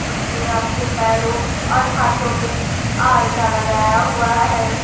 उसने अपने पैरों और हाथों पे आलता लगाया हुआ है।